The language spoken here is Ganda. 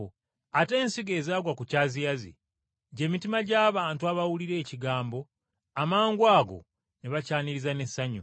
Ate ensigo ezaagwa ku byaziyazi, gy’emitima gy’abantu abawulira ekigambo amangwago ne bakyaniriza n’essanyu.